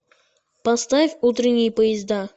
поставь утренние поезда